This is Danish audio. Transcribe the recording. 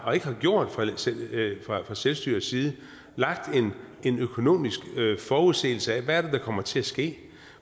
og ikke har gjort det fra selvstyrets side at fremlægge en økonomisk forudsigelse af hvad det er der kommer til at ske